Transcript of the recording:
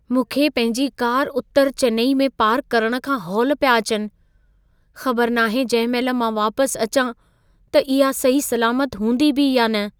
मूंखे पंहिंजी कार उत्तर चेन्नई में पार्क करणु खां हौल पिया अचनि। ख़बर नाहे जंहिं महिल मां वापसि अचां त इहा सही सलामत हूंदी बि या न।